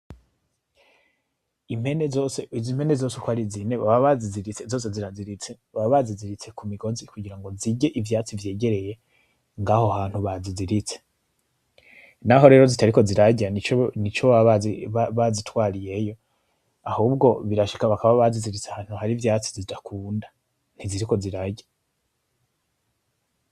Impene zose, izi mpene zose uko ari zine baba bazi ziritse zose ziziritse, baba bazi ziritse kumigozi kugira zirye ivyatsi vyegereye ngaho hantu bazi ziritse. Naho rero zitariko zirarya nico baba bazitwariyeyo, ahubwo birashika bakaba bazi ziritse ahantu hari ivyatsi zitakunda, ntiziriko zirarya.